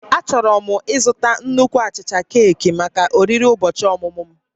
Achọrọ m ịzụta nnukwu achicha keeki maka oriri ụbọchị ọmụmụ m